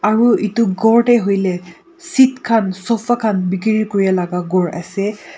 aru etu gour te hoile seat khan sofa khan bekiri Kori laga gour ase.